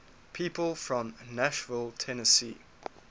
people from nashville tennessee